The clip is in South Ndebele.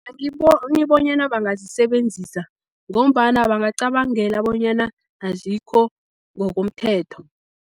Angiboni bonyana bangazisebenzisa, ngombana bangacabangela bonyana azikho ngokomthetho.